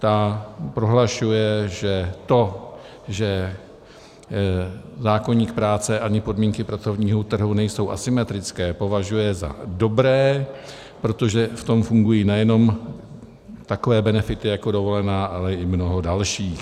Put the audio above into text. Ta prohlašuje, že to, že zákoník práce ani podmínky pracovního trhu nejsou asymetrické, považuje za dobré, protože v tom fungují nejenom takové benefity jako dovolená, ale i mnoho dalších.